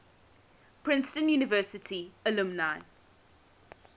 princeton university alumni